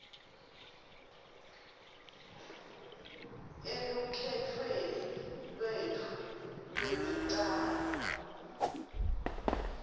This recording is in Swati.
elukhetfweni lwetfu lwekucala